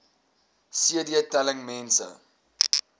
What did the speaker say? cd telling mense